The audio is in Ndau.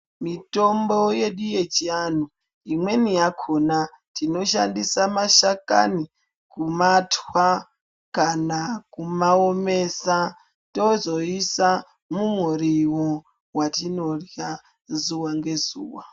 Mitombo yedu yechianhu imweni yakhona tinoshandisa mashakani kumatwa kana kumaomesa tozoiisa mumuriwa watinorya zuwa ngezuwa.